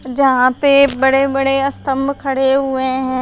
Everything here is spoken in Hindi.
जहां पे बड़े बड़े स्तंभ खड़े हुए हैं।